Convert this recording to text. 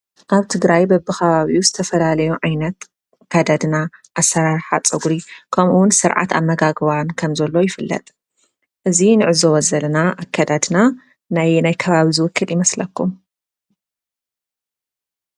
አብ ትግራይ በብከባቢኡ ዝተፈላለዩ ዓይነት አከዳድና አሰራርሓ ፀጉሪ ከምኡ እውን ስርዓት አመጋግባናን ከምዘሎ ይፍለጥ። እዚ ንዕዘቦ ዘለና አከዳድና ናይ አየናይ አከባቢ ዝውክል ይመስለኩም?